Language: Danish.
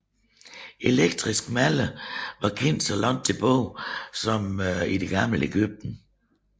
Elektriske maller var kendt så langt tilbage som i Det gamle Egypten